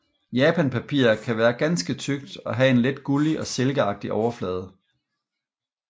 Japanpapir kan være ganske tykt og have en let gullig og silkeagtig overflade